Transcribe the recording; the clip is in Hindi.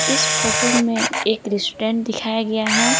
इस फोटो में एक रेस्टोरेंट दिखाया गया है।